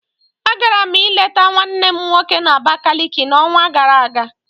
Agara m ịleta nwannem nwoke na Abakaliki n'onwa gara aga